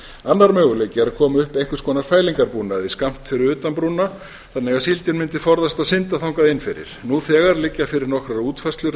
annar möguleiki er að koma upp einhvers konar fælingarbúnaði skammt fyrir utan brúna þannig að síldin mundi forðast að synda þangað inn fyrir nú þegar liggja fyrir nokkrar útfærslur